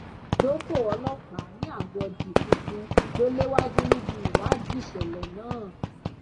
dópò ọlọpàá ní àgọ dkuku lọ léwájú níbi ìwádìí ìṣẹlẹ náà